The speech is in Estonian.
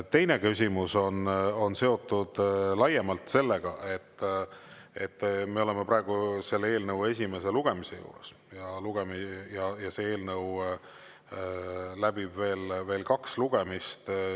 Teine küsimus on seotud laiemalt sellega, et me oleme praegu selle eelnõu esimese lugemise juures ja see eelnõu läbib veel kaks lugemist.